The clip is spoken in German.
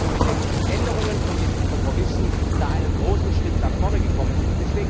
Ich glaube, dass wir mit den Änderungen in den Kompromissen da einen großen Schritt nach vorne gekommen sind.